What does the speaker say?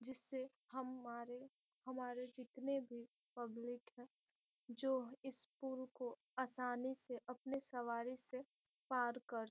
जिससे हमारे हमारे जितने भी पब्लिक है जो इस पुल को असानी से अपने सवारी से पार कर --